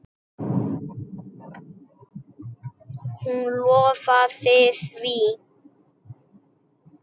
Hún lofaði því.